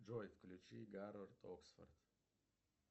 джой включи гарвард оксфорд